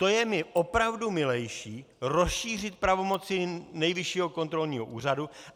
To je mi opravdu milejší rozšířit pravomoci Nejvyššího kontrolního úřadu.